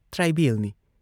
ꯇ꯭ꯔꯥꯏꯕꯦꯜꯅꯤ ꯫